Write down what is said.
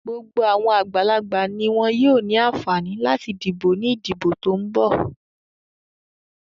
Gbogbo àwọn àgbàlagbà ni wọn yóò ní àǹfààní láti dìbò ní ìdìbò tó ń bọ́ ọ̀.